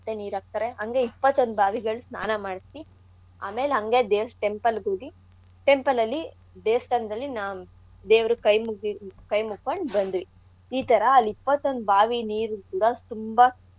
ನೀರ್ ಹಾಕ್ತಾರೆ ಅಂಗೆ ಇಪ್ಪತ್ತೊಂದ್ ಬಾವಿಗಳ್ ಸ್ನಾನ ಮಾಡ್ಸಿ ಆಮೇಲ್ ಹಂಗೆ ದೇವ್ಸ್~ temple ಗೋಗಿ temple ಅಲ್ಲಿ ದೇವ್ಸ್ತಾನ್ದಲ್ಲಿ ನಾವ್ ದೇವ್ರುಗ್ ಕೈ ಮುಗ್ಡಿದ್ ಕೈ ಮುಕ್ಕೊಂಡ್ ಬಂದ್ವಿ. ಈ ಥರಾ ಅಲ್ ಇಪ್ಪತ್ತೊಂದ್ ಬಾವಿ ನೀರ್ ಕೂಡ ತುಂಬಾ.